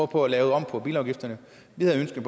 på at lave om på bilafgifterne vi havde ønsket